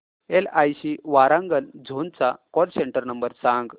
LIC Warangal zone चा call centre number सांग